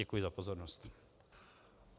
Děkuji za pozornost.